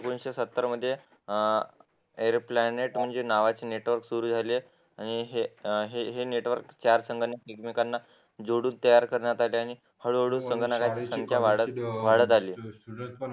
एकोणविशे सत्तर म्हणजे अं एयर प्लॅनेट म्हणजे नावाचे नेटवर्क सुरू झाले आणि हे नेटवर्क चार संगणकांना एकमेकांना जोडून तयार करण्यात आले आणि हळूहळू संगणकाची संख्या वाढत आहे